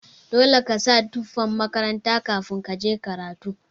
Dole kasa tufan makaranta kafin kaje karatu.